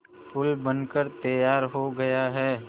पुल बनकर तैयार हो गया है